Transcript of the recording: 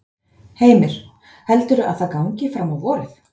Heimir: Heldurðu að það gangi fram á vorið?